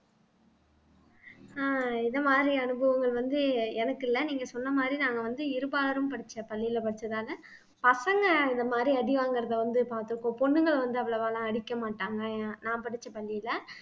ஆஹ் இது மாதிரி அனுபவங்கள் வந்து எ எனக்கு இல்லை நீங்க சொன்ன மாதிரி நாங்க வந்து இருபாலரும் படிச்ச பள்ளியில படிச்சதால பசங்க இந்த மாதிரி அடி வாங்குறதை வந்து பார்த்துருக்கோம் பொண்ணுங்கள வந்து அவ்வளவா எல்லாம் அடிக்க மாட்டாங்க எ நான் படிச்ச பள்ளியில